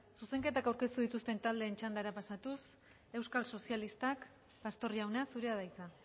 zuzenketak aurkeztu dituzten taldeen txandara pasatuz euskal sozialistak pastor jauna zurea da hitza